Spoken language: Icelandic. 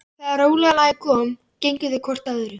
Þegar rólega lagið kom gengu þau hvort að öðru.